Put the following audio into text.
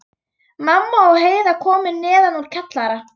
Mamma og Heiða komu neðan úr kjallara.